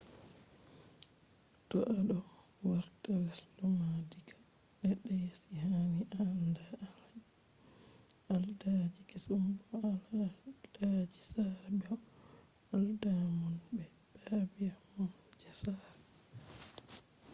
to a do warta lesde ma diga ledde yasi hani a anda al’adaji kesum bo al’adaji sare be bo al’adamon be ɗabi’a mon je sare